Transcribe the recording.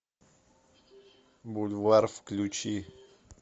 бульвар включи